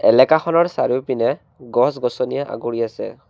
এলেকাখনৰ চাৰিওপিনে গছ গছনিয়ে আগুৰি আছে।